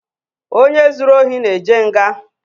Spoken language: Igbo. Onye zuru ohi na-eje nga.